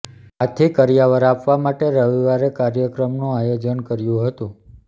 આથી કરિયાવર આપવા માટે રવિવારે કાર્યક્રમનું આયોજન કર્યું હતું